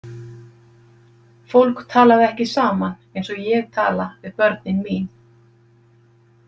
Fólk talaði ekki saman eins og ég tala við börnin mín.